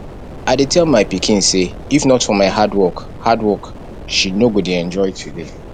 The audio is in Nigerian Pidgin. i dey tell my pikin say if not for my hard work hard work she no go dey enjoy today